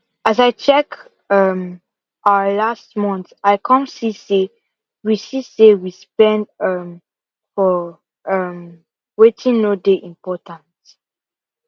as i check um our last month i come see say we see say we spend um for um wetin no dey important